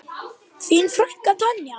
Þín frænka Tanja.